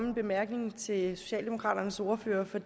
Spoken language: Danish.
en bemærkning til socialdemokraternes ordfører for